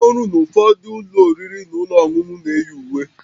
Ndị ọrụ na ụfọdụ ụlọ oriri na ọṅụṅụ na-eyi uwe